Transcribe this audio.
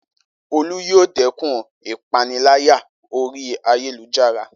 Olú yóò dẹ́kun ìpániláyà orí ayélujára